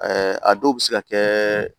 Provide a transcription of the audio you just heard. a dɔw bɛ se ka kɛ